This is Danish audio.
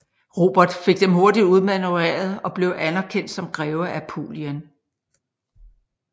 Robert fik dem hurtigt udmanøvreret og blev anerkendt som greve af Apulien